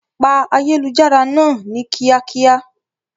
Pa ayélujára náà ni kíákíá!